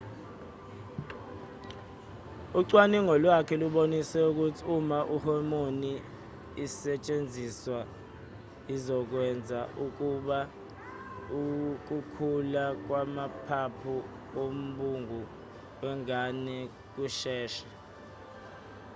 ucwaningo lwakhe lubonise ukuthi uma ihomoni isetshenziswa izokwenza ukuba ukukhula kwamaphaphu wombungu wengane kusheshe